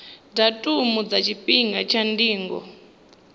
datumu na tshifhinga tsha ndingo